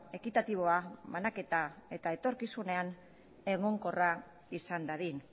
ekitatiboa banaketa eta etorkizunean egonkorra izan dadin